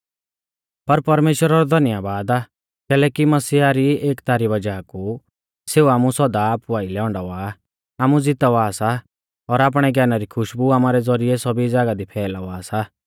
पर परमेश्‍वरा रौ धन्यबाद आ कैलैकि मसीह री एकता री वज़ाह कु सेऊ आमु सौदा आपु आइलै औंडावा आ आमु ज़ितावा सा और आपणै ज्ञाना री खुशबु आमारै ज़ौरिऐ सौभी ज़ागाह दी फैलावा सा